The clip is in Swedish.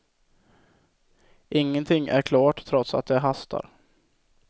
Ingenting är klart trots att det hastar.